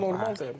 normaldır.